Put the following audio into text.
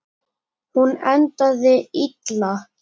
Hún endaði illa.